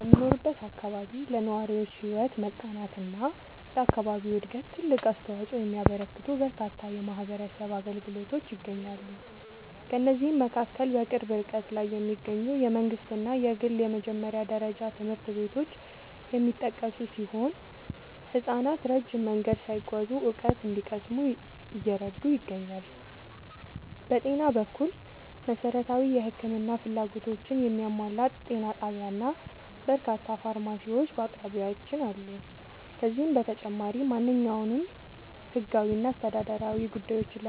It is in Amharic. በምኖርበት አካባቢ ለነዋሪዎች ሕይወት መቃናትና ለአካባቢው ዕድገት ትልቅ አስተዋፅኦ የሚያበረክቱ በርካታ የማኅበረሰብ አገልግሎቶች ይገኛሉ። ከእነዚህም መካከል በቅርብ ርቀት ላይ የሚገኙ የመንግሥትና የግል የመጀመሪያ ደረጃ ትምህርት ቤቶች የሚጠቀሱ ሲሆን፣ ሕፃናት ረጅም መንገድ ሳይጓዙ እውቀት እንዲቀስሙ እየረዱ ይገኛሉ። በጤና በኩል፣ መሠረታዊ የሕክምና ፍላጎቶችን የሚያሟላ ጤና ጣቢያና በርካታ ፋርማሲዎች በአቅራቢያችን አሉ። ከዚህም በተጨማሪ፣ ማንኛውንም ሕጋዊና አስተዳደራዊ ጉዳዮችን